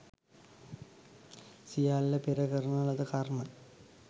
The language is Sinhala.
සියල්ල පෙර කරන ලද කර්ම